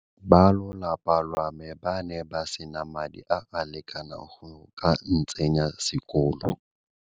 Balolapa lwa me ba ne ba sena madi a a lekaneng go ka ntsenya sekolo.